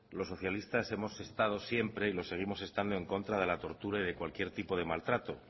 los socialistas hemos estado siempre y lo seguimos estando en contra de la tortura y de cualquier tipo de maltrato